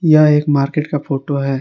यह एक मार्केट का फोटो है।